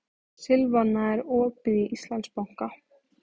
Silvana, er opið í Íslandsbanka?